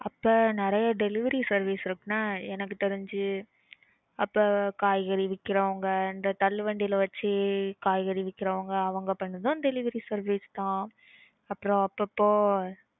அப்போ நறைய delivery services இருக்கு என்ன எனக்கு தெரிஞ்சு அப்ப காய்கறி விக்கறவங்க இந்த தள்ளு வண்டில வெச்சுகாய்கறி விக்குறவங்க அவங்க பண்றதும் delivery service தான் அப்புறம் அப்போப்போ.